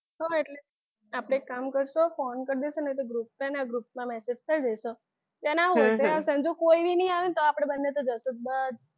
હા એટલે આપણે એક કામ કરશું ફોન કર દઈશું નહિ તો group માં છે ને group માં group કરી દઈશું જેને આવું છે એ આવશે જો કોઈની આવે તો આપણે બંને તો જઈશું જ